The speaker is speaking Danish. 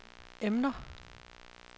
emner